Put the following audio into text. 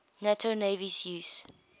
nato navies use